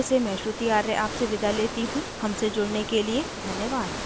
I I T Bombay से मैं श्रुति आर्य आपसे विदा लेती हूँ हमसे जुड़ने के लिए धन्यवाद